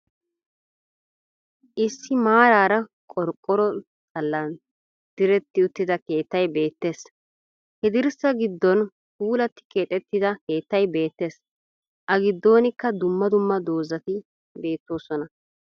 Issi maaraara qorqqoro xallan diretti uttida keettay beettees. He dirssaa giddon puulatti keexettida keettay beettees. A giddoonikkaa dumma dumma doozati beettoosona.